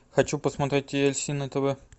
хочу посмотреть ти эль си на тв